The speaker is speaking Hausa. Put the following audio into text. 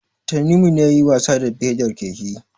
Tanimu ne yayi wasa da pedar keken.